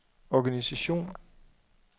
organisation